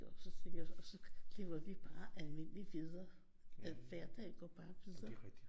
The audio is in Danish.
Så tænker jeg og så lever vi bare almindeligt videre hverdagen går bare videre